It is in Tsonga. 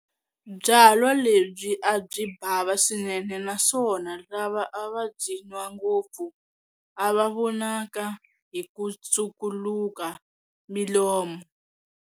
Byalwa lebyi a byi bhava swinene na swona lava a va byi nwa ngopfu a va vonaka hi ku tshukuluka milomu.